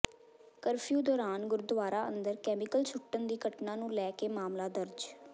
curfew ਦੌਰਾਨ ਗੁਰਦੁਆਰਾ ਅੰਦਰ ਕੈਮੀਕਲ ਸੁੱਟਣ ਦੀ ਘਟਨਾ ਨੂੰ ਲੈ ਕੇ ਮਾਮਲਾ ਦਰਜ